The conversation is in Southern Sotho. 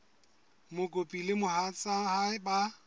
mokopi le mohatsa hae ba